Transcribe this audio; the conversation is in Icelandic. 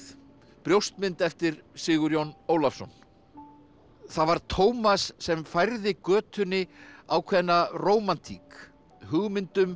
brjóstmynd eftir Sigurjón Ólafsson það var Tómas sem færði götunni ákveðna rómantík hugmynd um